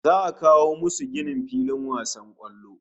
Za'a a kawo musu ginin filin wasan kwallo